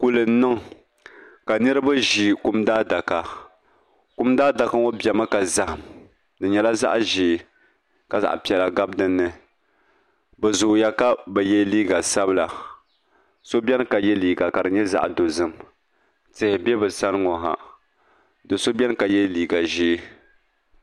Kuli n niŋ ka niraba ʒi kum daadaka kum daadaka ŋo biɛmi ka zaham di nyɛla zaɣ ʒiɛ ka zaɣ piɛlli gabi dinni bi zooya ka bi yɛ liiga sabila so biɛni ka yɛ liiga ka di nyɛ zaɣ dozim tihi bɛ bi sani ŋo ha do so biɛni ka yɛ liiga ʒiɛ